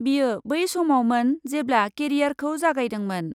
बियो बै समावमोन जेब्ला, केरियारखौ जागायदोंमोन ।